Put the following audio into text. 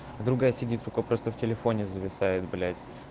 а другая сидит столько просто в телефоне зависает блять